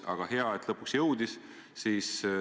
Aga hea, et lõpuks jõuti.